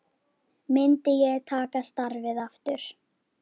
Myndi ég taka starfið aftur?